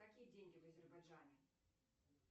какие деньги в азербайджане